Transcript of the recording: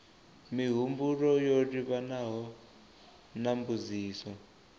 mihumbulo yo livhanaho na mbudziso